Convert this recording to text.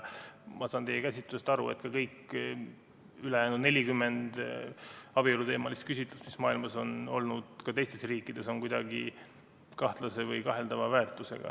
Ma saan teie käsitlusest aru, et kõik ülejäänud 40 abieluteemalist küsitlust, mis on olnud maailma teistes riikides, on kuidagi kahtlase või kaheldava väärtusega.